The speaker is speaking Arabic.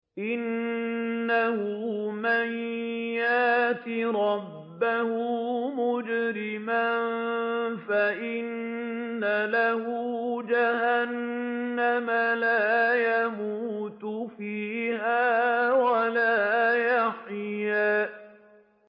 إِنَّهُ مَن يَأْتِ رَبَّهُ مُجْرِمًا فَإِنَّ لَهُ جَهَنَّمَ لَا يَمُوتُ فِيهَا وَلَا يَحْيَىٰ